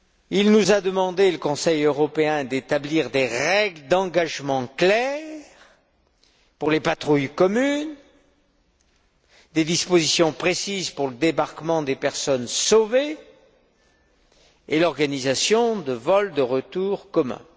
Il nous a demandé d'établir des règles d'engagement claires pour les patrouilles communes, des dispositions précises pour le débarquement des personnes secourues et l'organisation de vols de retour communs.